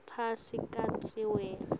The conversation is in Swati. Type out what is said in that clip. phasi kantsi wena